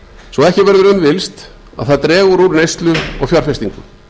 svo ekki verður um villst að það dregur úr neyslu og fjárfestingu